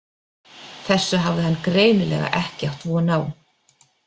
Þessu hafði hann greinilega ekki átt von á.